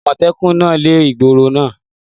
Àmọ̀tẹ́kùn náà lé ehoro igbó náà.